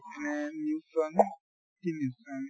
এনে news চোৱা নে, কি news চোৱা?